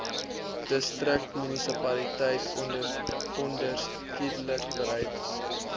distriksmunisipaliteit onderskeidelik bereid